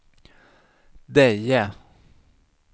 Deje